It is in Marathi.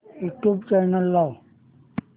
यूट्यूब चॅनल लाव